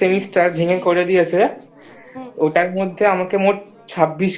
করে ভেঙে দিয়েছে ওটার মধ্যে আমাকে মোট ছাব্বিশখানা